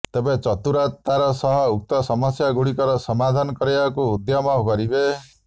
ତେବେ ଚତୁରତାର ସହ ଉକ୍ତ ସମସ୍ୟାଗୁଡ଼ିକର ସମାଧାନ କରିବାକୁ ଉଦ୍ୟମ କରିବେ